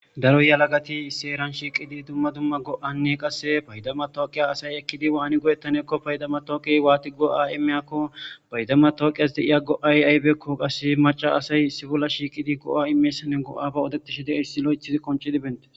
Daro yalagati seeran shiiqidi dumma dumma go7anne qasse paydama tooqiya asay ekkidi waani go7ettaneekko paydama tooqiy waati go7a imeyakko paydama tooqiyas deiya go7ay aybeekko qasse maca asay sibolla shiiqidi go7a imeyssane go7aba odeqtishe de7ehissi lo7ethizi qonci dibente